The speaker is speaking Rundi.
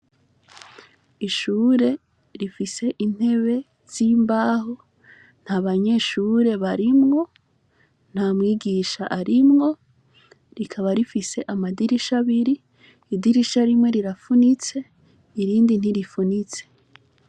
Ishure rifise intebe z' imbaho nta banyeshuri barimwo nta mwigisha arimwo rikaba rifise amadirisha abiri idirisha rimwe rirafunitse irindi ntirifunitse.